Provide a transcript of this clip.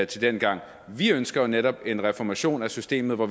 til dengang vi ønsker jo netop en reformation af systemet hvor